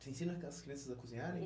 Você ensina aquelas crianças a cozinharem?